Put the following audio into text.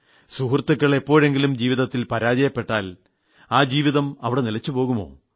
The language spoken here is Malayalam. സുഹൃത്തുക്കൾ എപ്പോഴെങ്കിലും ജീവിതത്തിൽ പരാജയപ്പെട്ടാൽ ആ ജീവിതം അവിടെ നിലച്ചു പോകുമോ